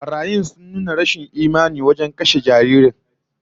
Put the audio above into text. Barayin sun nuna rashin imani wajen kashe jaririn